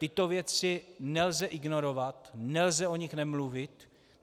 Tyto věci nelze ignorovat, nelze o nich nemluvit.